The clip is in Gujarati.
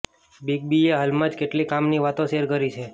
બિગ બીએ હાલમાં જ કેટલીક કામની વાતો શેર કરી છે